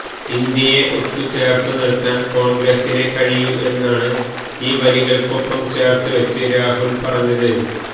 ഇന്ത്യയെ ഒത്തുചേർത്തു നിർത്താൻ കോൺഗ്രസിനെ കഴിയൂ എന്നാണ് ഈ വരികൾക്കൊപ്പം ചേർത്ത് വച്ച് രാഹുൽ പറഞ്ഞത്